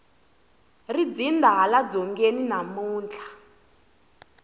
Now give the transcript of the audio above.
ri dzinda hala dzongeni namuntlha